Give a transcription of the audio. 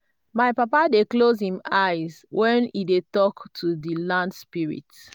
my papa dey close him eye when e dey talk to di land spirits.